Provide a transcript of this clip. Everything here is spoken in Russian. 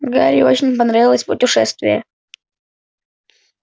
гарри очень понравилось путешествие